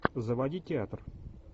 заводи театр